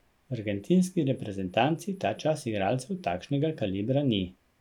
V argentinski reprezentanci ta čas igralcev takšnega kalibra ni.